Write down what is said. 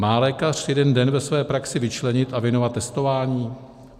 Má lékař jeden den ve své praxi vyčlenit a věnovat testování?